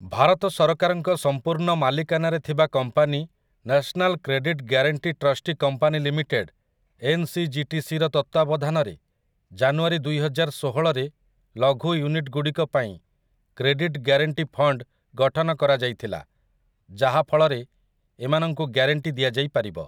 ଭାରତ ସରକାରଙ୍କ ସମ୍ପୂର୍ଣ୍ଣ ମାଲିକାନାରେ ଥିବା company national credit guarantee trustee company limited, ଏନ୍‌ସିଜିଟିସିର, ତତ୍ତ୍ୱାବଧାନରେ ଜାନୁଆରୀ ଦୁଇହଜାରଷୋହଳରେ ଲଘୁ ୟୁନିଟ୍ ଗୁଡ଼ିକ ପାଇଁ କ୍ରେଡିଟ୍‌ ଗ୍ୟାରେଣ୍ଟୀ ଫଣ୍ଡ୍ ଗଠନ କରାଯାଇଥିଲା, ଯାହାଫଳରେ ଏମାନଙ୍କୁ ଗ୍ୟାରେଣ୍ଟୀ ଦିଆଯାଇପାରିବ ।